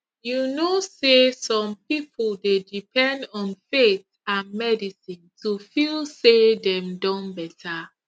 you know say some people dey depend on faith and medicine to feel say dem don better